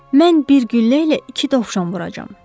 Mən bir güllə ilə iki dovşan vuracağam.